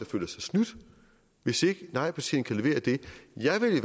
føler sig snydt hvis ikke nejpartierne kan levere det jeg vil i